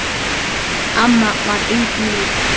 Amma var engum lík.